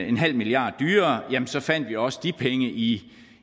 en halv milliard dyrere så fandt vi også de penge i